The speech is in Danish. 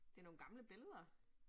Det nogle gamle billeder